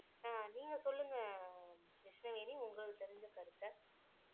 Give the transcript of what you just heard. அஹ் நீங்க சொல்லுங்க கிருஷ்ணவேணி உங்களுக்கு தெரிஞ்ச கருத்தை